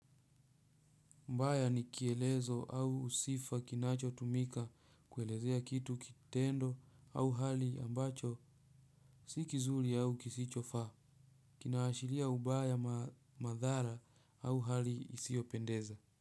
Mbaya ni kielezo au sifa kinachotumika kuelezea kitu kitendo au hali ambacho si kizuri au kisichofaa. Kinaashiria ubaya madhara au hali isiyopendeza.